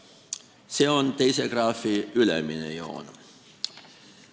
See on teise graafi ülemine joon.